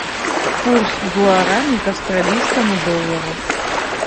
курс гуарани к австралийскому доллару